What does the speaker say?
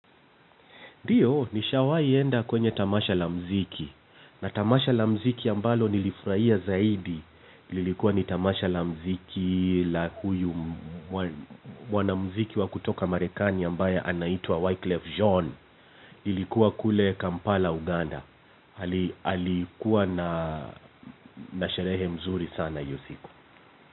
Ndio nishawai enda kwenye tamasha la mziki na tamasha la mziki ambalo nilifurahia zaidi, lilikuwa ni tamasha la mziki la huyu mwanamziki wa kutoka Marekani ambaye anaitwa Wyclef John. Lilikuwa kule Kampala Uganda. Alikuwa na sherehe mzuri sana hiyo siku.